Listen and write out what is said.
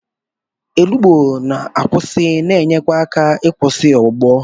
Olugbu na-akwụsị na-enye aka ịkwụsị ọgbụgbọ.